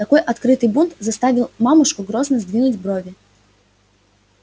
такой открытый бунт заставил мамушку грозно сдвинуть брови